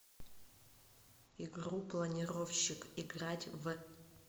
игру планировщик играть в